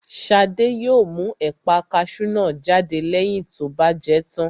Shade yóò mú ẹ̀pà kasú náà jáde lẹ́yìn tó bá jẹ tán